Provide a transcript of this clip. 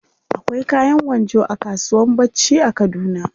Akwai kayan gwanjo a kasuwan bacci a kaduna.